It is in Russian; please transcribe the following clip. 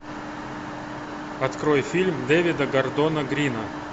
открой фильм дэвида гордона грина